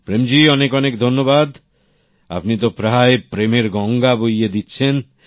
প্রেম জি অনেক অনেক ধন্যবাদ আপনি তো প্রায় প্রেমের গঙ্গা বইয়ে দিচ্ছেন